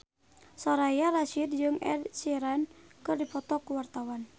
Soraya Rasyid jeung Ed Sheeran keur dipoto ku wartawan